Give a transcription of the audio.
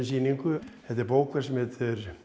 sýningu þetta er bók sem heitir